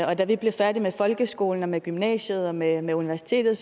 og da vi blev færdige med folkeskolen og med gymnasiet og med med universitetet